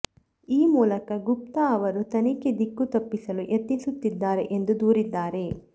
ಈ ಮೂಲಕ ಗುಪ್ತಾ ಅವರು ತನಿಖೆ ದಿಕ್ಕು ತಪ್ಪಿಸಲು ಯತ್ನಿಸುತ್ತಿದ್ದಾರೆ ಎಂದು ದೂರಿದ್ದಾರೆ